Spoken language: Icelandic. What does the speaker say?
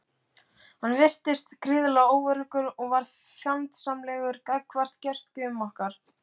Hann virtist gríðarlega óöruggur og varð fjandsamlegur gagnvart gestgjöfum okkar.